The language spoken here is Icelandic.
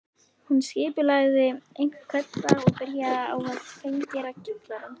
Hún skipulagði hvern dag og byrjaði á að hreingera kjallarann